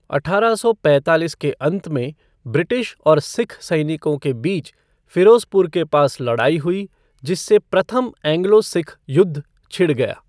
अठारह सौ पैंतालीस के अंत में, ब्रिटिश और सिख सैनिकों के बीच फिरोजपुर के पास लड़ाई हुई, जिससे प्रथम एंग्लो सिख युद्ध छिड़ गया।